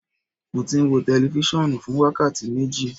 Mo ti n wo tẹlifisiọnu fun wakati meji